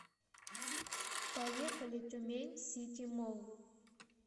поехали тюмень сити молл